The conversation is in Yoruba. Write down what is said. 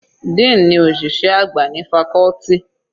Dean ní òṣìṣẹ́ àgbà ní faculty.